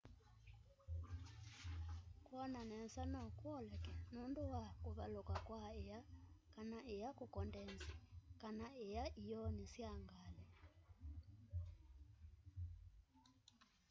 kwona nesa no kuoleke nundu wa kuvaluka kwa ia kana ia kukondenzi kana ia iy'ooni sya ngali